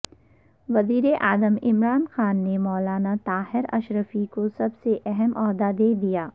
وزیراعظم عمران خان نے مولانا طاہر اشرفی کو سب سے اہم عہدہ دے دیا